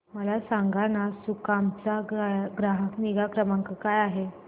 मला सांगाना सुकाम चा ग्राहक निगा क्रमांक काय आहे